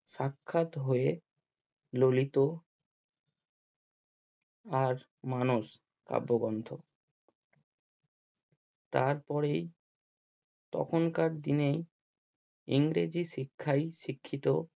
সাক্ষাৎ হয়ে ললিত আর মানস কাব্যগন্থ তারপরেই তখনকার দিনে ইংরেজি শিক্ষায় শিক্ষিত